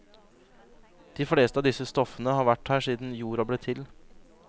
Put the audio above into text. De fleste av disse stoffene har vært her siden jorda ble til.